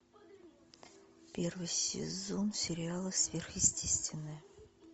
первый сезон сериала сверхъестественное